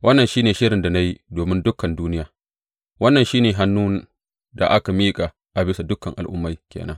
Wannan shi ne shirin da na yi domin dukan duniya; wannan shi ne hannun da aka miƙa a bisa dukan al’ummai ke nan.